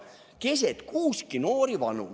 "Keset kuuski noori, vanu.